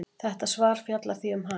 Þetta svar fjallar því um hann.